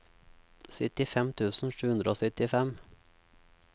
syttifem tusen sju hundre og syttifem